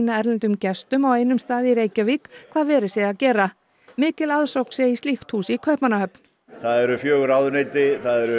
erlendum gestum á einum stað í Reykjavík hvað verið sé að gera mikil aðsókn sé í slíkt hús í Kaupmannahöfn það eru fjögur ráðuneyti